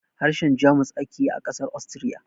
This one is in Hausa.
Harshen Jamus ake yi a ƙasar Austria